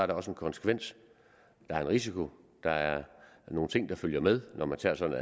der også en konsekvens der er en risiko der er nogle ting der følger med når man tager sådan